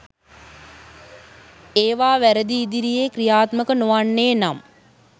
ඒවා වැරදි ඉදිරියේ ක්‍රියාත්මක නොවන්නේ නම්